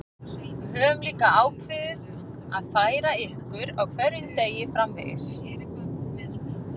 Við höfum líka ákveðið að færa ykkur á hverjum degi framvegis.